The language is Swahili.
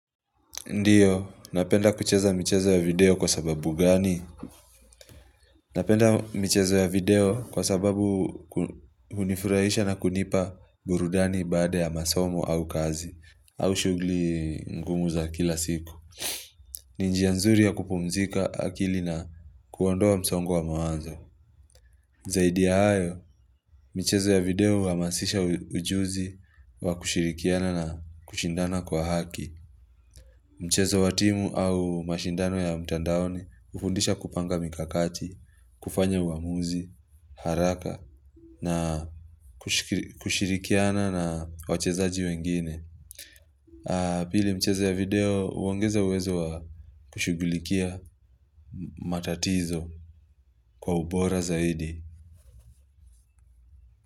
Ndio, napenda kucheza mchezo ya video kwa sababu gani? Napenda michezo ya video kwa sababu hunifurahisha na kunipa burudani baada ya masomo au kazi, au shughuli ngumu za kila siku. Ni njia nzuri ya kupumzika akili na kuondoa msongo wa mawazo. Zaidi ya hayo, michezo ya video huhamasisha ujuzi wa kushirikiana na kushindana kwa haki. Mchezo wa timu au mashindano ya mtandaoni hufundisha kupanga mikakati, kufanya uamuzi, haraka, na kushirikiana na wachezaji wengine. Pili mchezo ya video, huongeza uwezo wa kushughulikia matatizo kwa ubora zaidi.